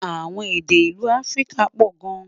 àwọn èdè ìlú áfríkà pò gán